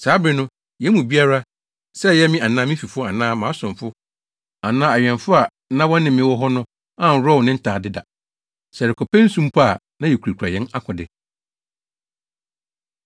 Saa bere no, yɛn mu biara, sɛ ɛyɛ me anaa me fifo anaa mʼasomfo anaa awɛmfo a na wɔne me wɔ hɔ no anworɔw ne ntade da. Sɛ yɛrekɔpɛ nsu mpo a na yekurakura yɛn akode.